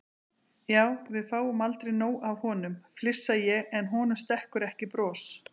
Já, við fáum aldrei nóg af honum, flissa ég en honum stekkur ekki bros.